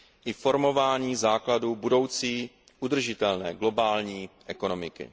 i formování základů budoucí udržitelné globální ekonomiky.